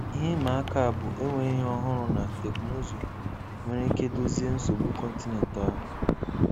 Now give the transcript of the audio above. Ihe ịma aka a bụ enweghị ihe ọhụrụ na teknụzụ nwere ike dozie nsogbu kọntinent ahụ.